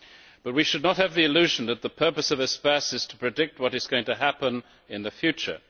But we should not have the illusion that the purpose of Espace is to predict what is going to happen in the future.